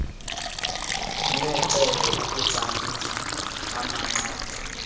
necebo ukutsamisa amanqatha